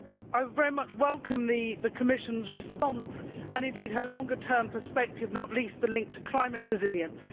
I very much welcome the Commissioner's response, and indeed her longer term perspective, not least the link to climate resilience.